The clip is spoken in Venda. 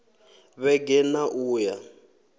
vhege n ṋ a uya